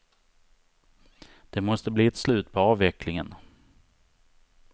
Det måste bli ett slut på avvecklingen.